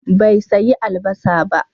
Bai sayi albasa ba.